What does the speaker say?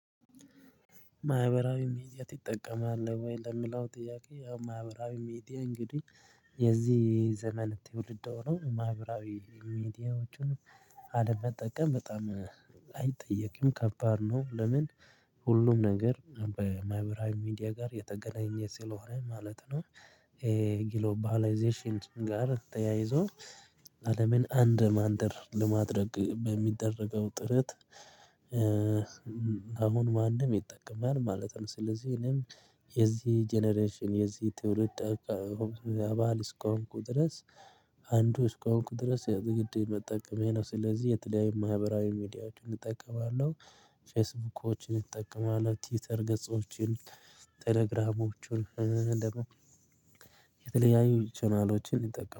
ማህበራዊ ሚዲያ ትጠቀማለህ ወይ ለምላው? ጥያቄ ያው ማህበራዊ ሚዲያ እንግዲህ የዚህ የዘመን ትውልድ ሆኖ ማህበራዊ ሚዲያዎችን አለመጠቀም በጣም አይጠየቅም ከባድ ነው። ለምን ሁሉም ነገር በማይብራዊ ሚዲያ ጋር የተገናኘ ስለሆነ ማለት ነው። ጊሎባላይዜሽን ጋር ተያይዞ አለምን አንድ መንደር ለማድረግ በሚደረገው ጥረት። አሁን ማንም ይጠቀማል ማለት ነው። ስለዚህ እኔም የዚህ ጀነሬሽን የዚህ ትውልድ አባል እስሆንኩ ድረስ አንዱ እስኮንኩ ድረስ የግድ መጠቀሜ ነው። ስለዚህ የተለያየ ማህበራዊ ሚዲያዎችን እጠቀማለሁ። ፌስቡኮችን እጠቀማለሁ ቲውተር ገጾችን ቴሌግራሞችን የተለያዩ ቻናሎችን እንጠቀም